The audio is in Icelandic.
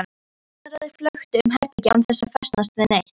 Augnaráðið flökti um herbergið án þess að festast við neitt.